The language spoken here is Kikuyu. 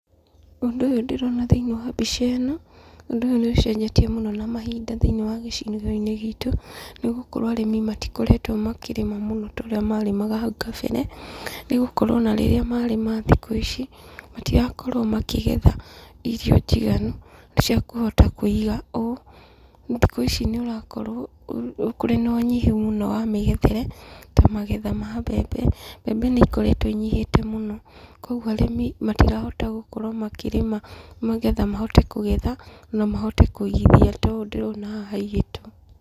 Ũndũ ũyũ ndĩrona thĩiniĩ wa mbica ĩno, ũndũ ũyũ nĩ ũcenjetie mũno na mahinda thĩiniĩ wa gĩcigo-inĩ gitũ, nĩ gũkorwo arĩmi matikoretwo makĩrĩma mũno ta ũrĩa marĩmaga hau kabere. Nĩ gũkorwo ona rĩrĩa marĩma thikũ ici, matirakorwo makĩgetha irio njiganu ta cia kũhota kũiga ũũ. Thikũ ici nĩ ũrakorwo kũri na unyihu mũno wa mĩgethere, to magetha ma mbembe. Mbembe nĩ ikoretwo inyihĩte mũno. Kũguo arĩmi matirahota gũkorwo makĩrĩma magetha mahote kũgetha, na mahote kũigithia ta ũũ ndĩrona haha iigĩtwo.